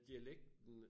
Dialekten